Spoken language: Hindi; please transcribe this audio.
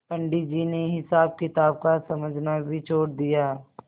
पंडित जी ने हिसाबकिताब का समझना भी छोड़ दिया